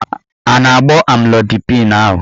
A na-agbọ amlodipịn ahụ?